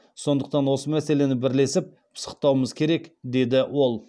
сондықтан осы мәселені бірлесіп пысықтауымыз керек деді ол